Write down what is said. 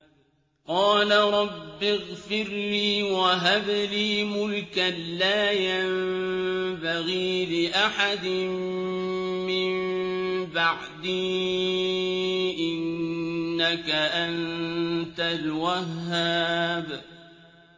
قَالَ رَبِّ اغْفِرْ لِي وَهَبْ لِي مُلْكًا لَّا يَنبَغِي لِأَحَدٍ مِّن بَعْدِي ۖ إِنَّكَ أَنتَ الْوَهَّابُ